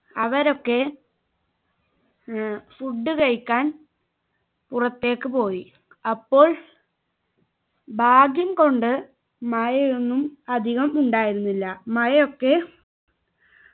അവരൊക്കെ ഏർ food കഴിക്കാൻ പുറത്തേക്ക് പോയി അപ്പോൾ ഭാഗ്യം കൊണ്ട് മഴയൊന്നും അധികം ഉണ്ടായിരുന്നില്ല മഴയൊക്കെ